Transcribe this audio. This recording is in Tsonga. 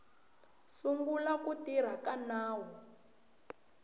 sungula ku tirha ka nawu